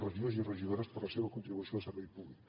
regidors i regidores per la seva contribució al servei públic